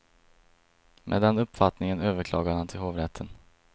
Med den uppfattningen överklagade han till hovrätten.